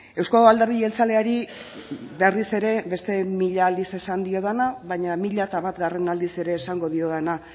euzko alderdi jeltzaleari berriz ere beste mila aldiz esan diodana baina mila eta batgarren aldiz ere esango diodana